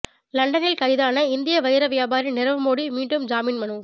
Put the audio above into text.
லண்டனில் கைதான இந்திய வைர வியாபாரி நிரவ் மோடி மீண்டும் ஜாமீன் மனு